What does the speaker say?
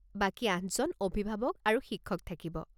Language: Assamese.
বাকী আঠজন অভিভাৱক আৰু শিক্ষক থাকিব।